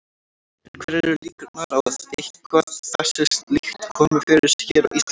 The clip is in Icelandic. En hverjar eru líkurnar á að eitthvað þessu líkt komi fyrir hér á Íslandi?